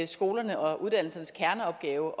skolernes og uddannelsernes kerneopgave